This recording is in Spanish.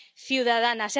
ciudadana.